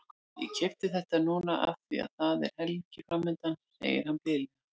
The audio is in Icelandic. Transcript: Ég keypti þetta núna af því að það er helgi framundan, segir hann blíðlega.